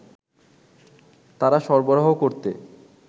তারা সরবরাহ করতে